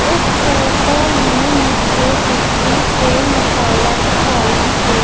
इस फोटो में मुझे गिट्टी के मसाला दिखाई दे--